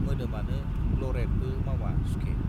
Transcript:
मोदोमानो लरेदबो मावा सुखे।